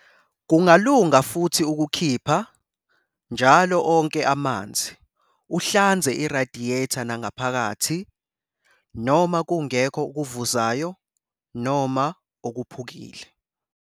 Kungalunga futhi ukukhipha njalo onke amanzi uhlanze irayidiyeta nangaphakathi, noma kungekho okuvuzayo noma okuphukile.